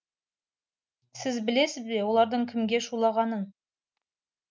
сіз білесіз бе олардың кімге шулағанын